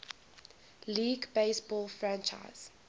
league baseball franchise